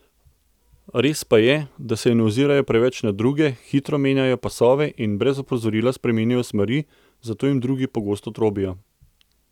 Res pa je, da se ne ozirajo preveč na druge, hitro menjajo pasove in brez opozorila spreminjajo smeri, zato jim drugi pogosto trobijo.